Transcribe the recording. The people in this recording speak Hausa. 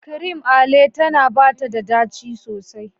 Cream Ale tana bata da daci sosai.